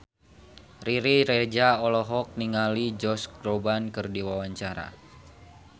Riri Reza olohok ningali Josh Groban keur diwawancara